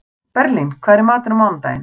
Berglín, hvað er í matinn á mánudaginn?